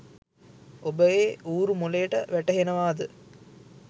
උබේ උරු මොලේට වටහෙවනේද